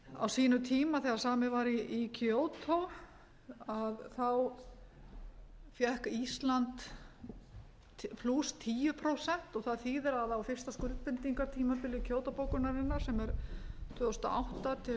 á sínum tíma þegar samið var í kyoto þá fékk ísland tíu prósent og það þýðir að á fyrsta skuldbindingartímabili kyoto bókunarinnar sem er tvö þúsund og átta til